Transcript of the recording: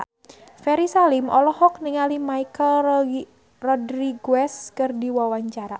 Ferry Salim olohok ningali Michelle Rodriguez keur diwawancara